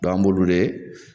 an b'olu de